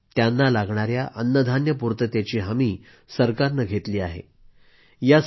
त्याचबरोबर त्यांना लागणाया अन्नधान्य पूर्ततेची हमी सरकारनं घेतली आहे